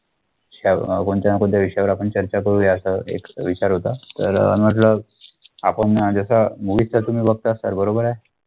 तर कोणत्या न कोणत्या विषयावर आपण चर्चा करू या असं एक विचार होता तर म्हंटल आपण जसं movie sir तुम्ही बघता movie sir बरोबर आहे